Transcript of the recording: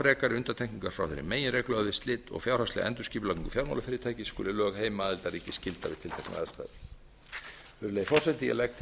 frekari undantekningar frá þeirri meginreglu að við slit og fjárhagslega endurskipulagningu fjármálafyrirtækis skuli lög heimaaðildarríks gilda við tilteknar aðstæður virðulegi forseti ég legg til að